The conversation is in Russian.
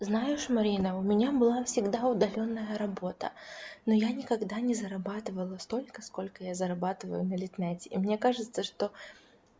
знаешь марина у меня была всегда удалённая работа но я никогда не зарабатывала столько сколько я зарабатываю на литнете и мне кажется что